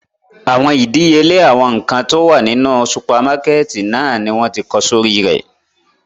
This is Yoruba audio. Awọn idiyele awọn nkan ti o wa ninu supamakẹti náa ni wọn ti kọ sori rẹ